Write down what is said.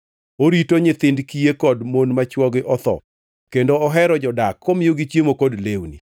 Orito nyithind kiye kod mon ma chwogi otho kendo ohero jodak komiyogi chiemo kod lewni.